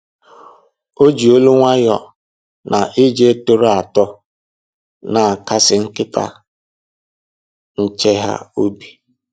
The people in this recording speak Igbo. O ji olu nwayọọ na ije tọrọ atọ na-akasị nkịta nche ha obi